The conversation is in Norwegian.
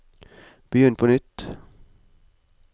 begynn på nytt